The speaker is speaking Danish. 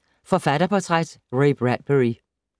Forfatterportræt: Ray Bradbury